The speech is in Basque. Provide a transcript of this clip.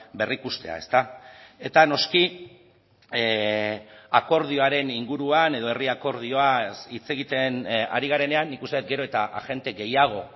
berrikustea eta noski akordioaren inguruan edo herri akordioaz hitz egiten ari garenean nik uste dut gero eta agente gehiago